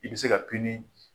I bɛ se ka ;